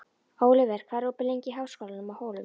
Óliver, hvað er opið lengi í Háskólanum á Hólum?